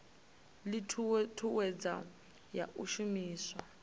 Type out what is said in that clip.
ii thuthuwedzo ya u shumiswa